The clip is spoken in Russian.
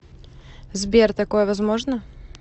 сбер такое возможно